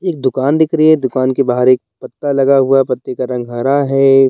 एक दुकान दिख रही है दुकान के बाहर एक पत्ता लगा हुआ है पत्ते का रंग हरा है।